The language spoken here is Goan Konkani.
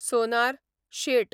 सोनार, शेट